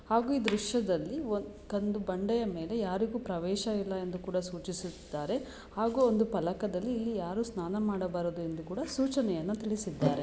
ಹಾಗೂ ಈ ದೃಶ್ಯದಲ್ಲಿ ಒಂದು ಕಂದು ಬಂಡೆಯ ಮೇಲೆ ಯಾರಿಗೂ ಪ್ರವೇಶವಿಲ್ಲ ಎಂದು ಕೂಡ ಸೂಚಿಸುತ್ತಿದ್ದಾರೆ ಹಾಗೂ ಒಂದು ಫಲಕದಲ್ಲಿ ಇಲ್ಲಿ ಯಾರು ಸ್ನಾನ ಮಾಡಬಾರದು ಎಂದು ಕೂಡ ಸೂಚನೆಯನ್ನು ತಿಳಿಸಿದ್ದಾರೆ .